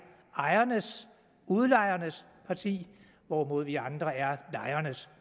ejernes udlejernes partier hvorimod vi andre er lejernes